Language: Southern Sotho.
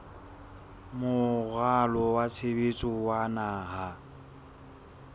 moralo wa tshebetso wa naha